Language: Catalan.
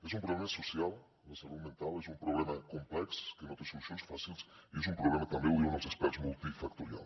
és un problema social la salut mental és un problema complex que no té solucions fàcils i és un problema també ho diuen els experts multifactorial